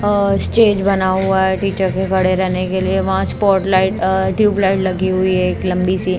stage बना हुआ है टीचर के खड़े रहने के लिए वहां स्पॉटलाइट ट्यूबलाइट लगी हुई है एक लंबी सी--